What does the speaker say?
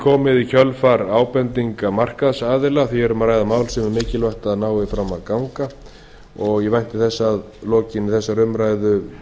komið í kjölfar ábendinga markaðsaðila því er um að ræða mál sem mikilvægt er að fram nái að ganga ég vænti þess að frumvarpinu verði að lokinni þessari umræðu